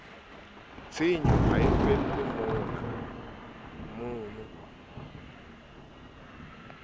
tshenyo ha e felle mono